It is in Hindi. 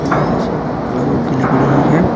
ये तस्वीरें क्लव की लग रही है।